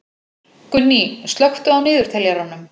Gunný, slökktu á niðurteljaranum.